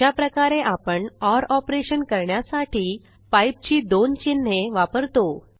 अशाप्रकारे आपण OR operation करण्यासाठी पाइप ची दोन चिन्हे वापरतो